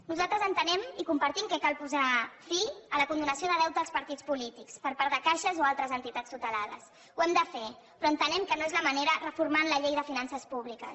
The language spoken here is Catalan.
nosaltres entenem i compartim que cal posar fi a la condonació de deute als partits polítics per part de caixes o altres entitats tutelades ho hem de fer però entenem que no és la manera reformant la llei de finances públiques